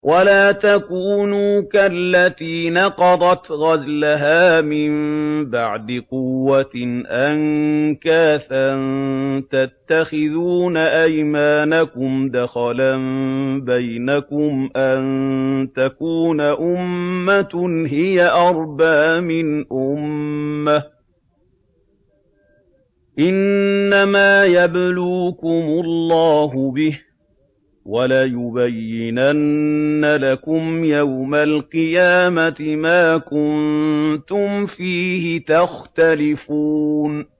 وَلَا تَكُونُوا كَالَّتِي نَقَضَتْ غَزْلَهَا مِن بَعْدِ قُوَّةٍ أَنكَاثًا تَتَّخِذُونَ أَيْمَانَكُمْ دَخَلًا بَيْنَكُمْ أَن تَكُونَ أُمَّةٌ هِيَ أَرْبَىٰ مِنْ أُمَّةٍ ۚ إِنَّمَا يَبْلُوكُمُ اللَّهُ بِهِ ۚ وَلَيُبَيِّنَنَّ لَكُمْ يَوْمَ الْقِيَامَةِ مَا كُنتُمْ فِيهِ تَخْتَلِفُونَ